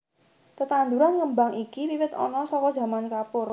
Tetanduran ngembang iki wiwit ana saka zaman Kapur